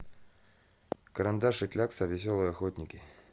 карандаш и клякса веселые охотники